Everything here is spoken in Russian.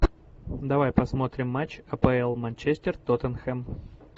давай посмотрим матч апл манчестер тоттенхэм